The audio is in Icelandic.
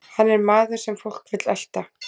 Hann er maður sem fólk vill elta.